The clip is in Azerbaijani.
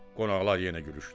Qonaqlar yenə gülüşdülər.